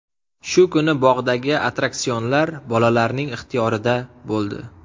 Shu kuni bog‘dagi attraksionlar bolalarning ixtiyorida bo‘ldi.